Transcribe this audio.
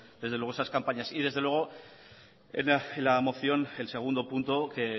esas campañas y desde luego la moción el segundo punto que